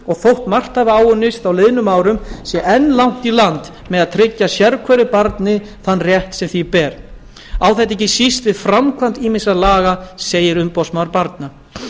og þótt margt hafi áunnist á liðnum árum sé enn langt í land með að tryggja sérhverju barni þann rétt sem því ber á það ekki síst við um framkvæmd ýmissa laga segir umboðsmaður barna